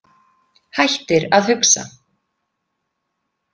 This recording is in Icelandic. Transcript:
Hættir að hugsa.